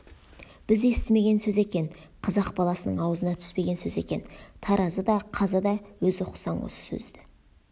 біз естімеген сөз екен қазақ баласының аузына түспеген сөз екен таразы да қазы да өзі ұқсаң осы сөзді